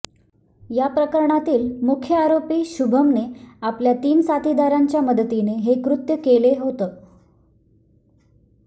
या प्रकरणातील मुख्य आरोपी शुभमने आपल्या तीन साथीदारांच्या मदतीने हे कृत्य केले होतं